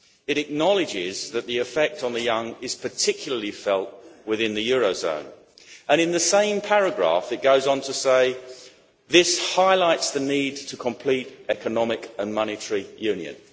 It acknowledges that the effect on the young is particularly felt within the euro area and, in the same paragraph, it goes on to say this highlights the need to complete economic and monetary union'.